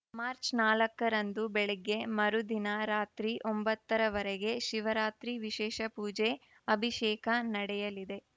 March ನಾಲ್ಕರಂದು ಬೆಳಗ್ಗೆ ಮರುದಿನ ರಾತ್ರಿ ಒಂಬತ್ತರವರೆಗೆ ಶಿವರಾತ್ರಿ ವಿಶೇಷ ಪೂಜೆ ಅಭಿಷೇಕ ನಡೆಯಲಿದೆ